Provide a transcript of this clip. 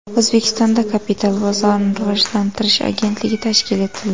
O‘zbekistonda Kapital bozorini rivojlantirish agentligi tashkil etildi.